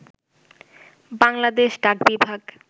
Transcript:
Bangladesh ডাকবিভাগ